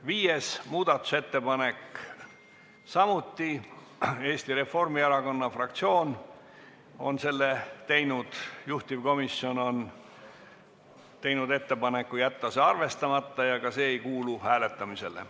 Viies muudatusettepanek, samuti Eesti Reformierakonna fraktsioonilt, juhtivkomisjon on teinud ettepaneku jätta see arvestamata ja ka see ei kuulu hääletamisele.